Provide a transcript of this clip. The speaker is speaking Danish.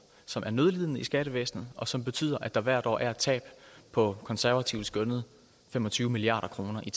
som er nødlidende i skattevæsenet og som betyder at der hvert år er et tab på konservativt skønnet fem og tyve milliard kroner i